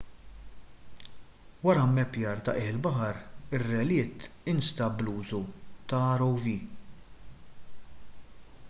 wara mmappjar ta' qiegħ il-baħar ir-relitt instab bl-użu ta' rov